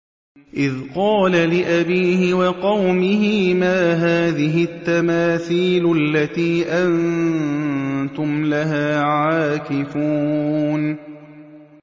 إِذْ قَالَ لِأَبِيهِ وَقَوْمِهِ مَا هَٰذِهِ التَّمَاثِيلُ الَّتِي أَنتُمْ لَهَا عَاكِفُونَ